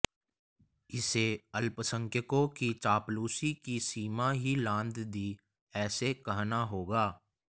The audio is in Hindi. इसे अल्पसंख्यकों की चापलूसी की सीमा ही लांघ दी ऐसे कहना होगा